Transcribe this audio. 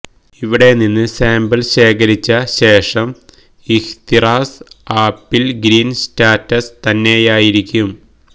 ഇവിടെ നിന്ന് സാംപിള് ശേഖരിച്ച ശേഷം ഇഹ്തിറാസ് ആപ്പില് ഗ്രീന് സ്റ്റാറ്റസ് തന്നെയായിരിക്കും